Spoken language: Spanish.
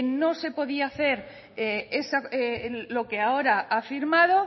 no se podía hacer lo que ahora ha firmado